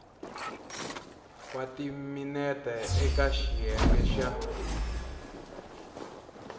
wa timinete eka xiyenge xa